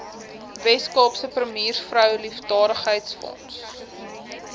weskaapse premiersvrou liefdadigheidsfonds